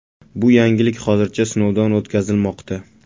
Bu yangilik hozircha sinovdan o‘tkazilmoqda.